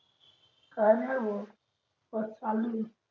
आली रे भो बस आली